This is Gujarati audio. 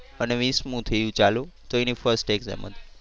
અને વિસમું થયું ચાલુ તો એની first exam હતી.